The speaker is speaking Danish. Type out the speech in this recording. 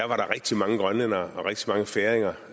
var der rigtig mange grønlændere og rigtig mange færinger